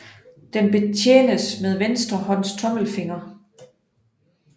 Den betjenes med venstre hånds tommelfinger